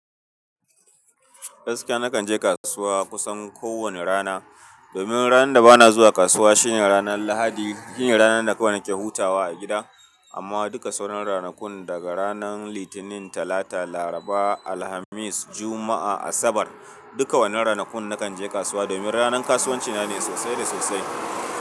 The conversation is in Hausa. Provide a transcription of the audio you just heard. Gaskiya nakan je kasuwa kusan ko wane rana. Domin ranan da bana zuwa kasuwa shine ranar lahadi. Shine ranar da kawai nake hutawa a gida. Amma duka sauran ranakun daga ranan litinin, talata, laraba, alhamis, juma'a, asabar dukka wannan ranakun nakan je kasuwa. Domin ranar kasuwanci na ne sosai da sosai.